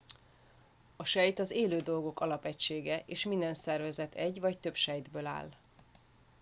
a sejt az élő dolgok alapegysége és minden szervezet egy vagy több sejtből áll